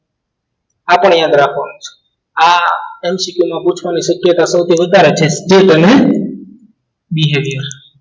આપણી અંદર આપ્યો છે આ MCQ માં પૂછવાની શક્યતા સૌથી વધારે છે બીજા